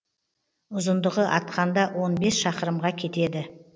ұзындығы атқанда он бес шақырымға кетеді